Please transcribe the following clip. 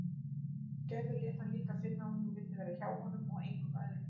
Gerður lét hann líka finna að hún vildi vera hjá honum og engum öðrum.